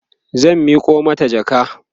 zan Miko mata jaka